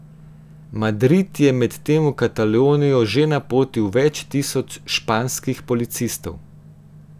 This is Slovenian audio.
Madrid je medtem v Katalonijo že napotil več tisoč španskih policistov.